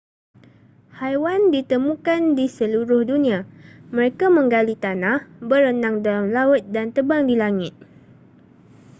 haiwan ditemukan di seluruh dunia mereka menggali tanah berenang dalam laut dan terbang di langit